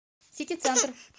сити центр